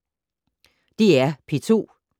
DR P2